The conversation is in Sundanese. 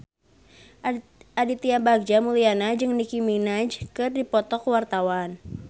Aditya Bagja Mulyana jeung Nicky Minaj keur dipoto ku wartawan